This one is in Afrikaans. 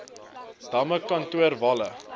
damme kontoer walle